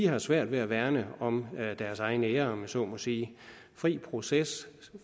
har svært ved at værne om deres egen ære om jeg så må sige fri proces